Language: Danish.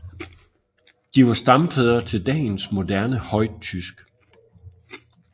De var stamfædre til dagens moderne højtysk